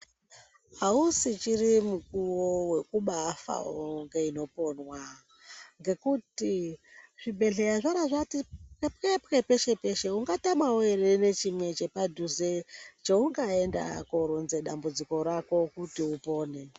Ausichiri mukuvo vekubaafa voga inoponwa ngekuti zvibhehleya zvabaati peshe peshe ungatamavo ere ngechimwe chepadhuze cheungaenda kunoronza dambudziko rako kuti upone.